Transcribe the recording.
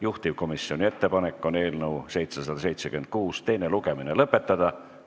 Juhtivkomisjoni ettepanek on eelnõu 776 teine lugemine lõpetada.